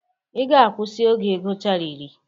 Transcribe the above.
Ị ga-akwusi oge ị gụchara iri!